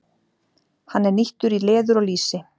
Hann er nýttur í leður og lýsi.